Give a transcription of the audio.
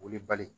Wele bali